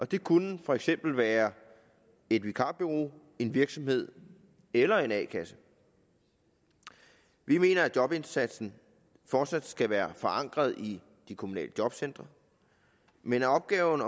det kunne for eksempel være et vikarbureau en virksomhed eller en a kasse vi mener at jobindsatsen fortsat skal være forankret i de kommunale jobcentre men opgaven